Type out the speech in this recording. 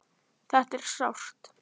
Þetta er sárt.